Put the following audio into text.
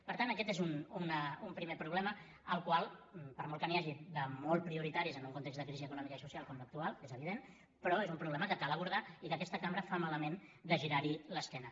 per tant aquest és un primer problema al qual per molt que n’hi hagi de molt prioritaris en el context de crisi econòmica i socials com l’actual és evident però és un problema que cal abordar i que aquesta cambra fa malament de girar hi l’esquena